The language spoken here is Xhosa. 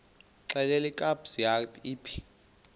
xelel kabs iphi